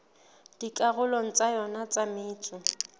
dikarolong tsa yona tsa metso